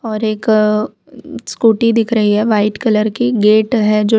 और एक उम्म स्कूटी दिख रही है वाइट कलर की गेट है जो --